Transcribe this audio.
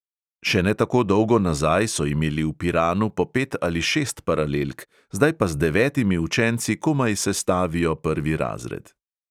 Še ne tako dolgo nazaj so imeli v piranu po pet ali šest paralelk, zdaj pa z devetimi učenci komaj sestavijo prvi razred.